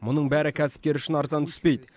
мұның бәрі кәсіпкер үшін арзан түспейді